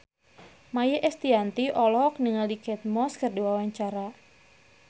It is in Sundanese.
Maia Estianty olohok ningali Kate Moss keur diwawancara